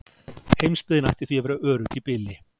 Heimsbyggðin ætti því að vera örugg í bili.